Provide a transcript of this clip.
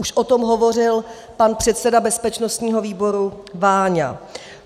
Už o tom hovořil pan předseda bezpečnostního výboru Váňa.